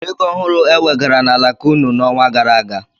O nwere ego ọhụrụ ewegara n'alaka ụnụ n'ọnwa gara aga?